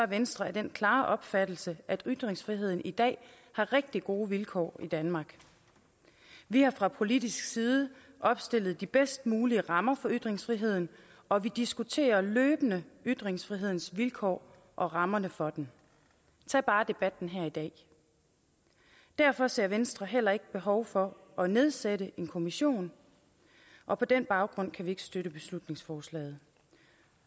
venstre af den klare opfattelse at ytringsfriheden i dag har rigtig gode vilkår i danmark vi har fra politisk side opstillet de bedst mulige rammer for ytringsfriheden og vi diskuterer løbende ytringsfrihedens vilkår og rammerne for den tag bare debatten her i dag derfor ser venstre heller ikke behov for at nedsætte en kommission og på den baggrund kan vi ikke støtte beslutningsforslaget